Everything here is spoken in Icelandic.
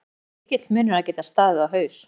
Já það er mikill munur að geta staðið á haus